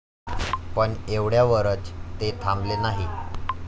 पण एवढ्यावरच ते थांबले नाही.